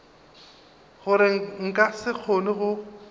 gore nka se kgone go